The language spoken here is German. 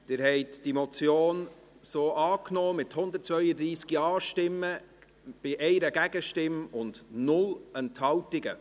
Sie haben diese Motion so angenommen, mit 132 Ja-Stimmen bei 1 Gegenstimme und 0 Enthaltungen.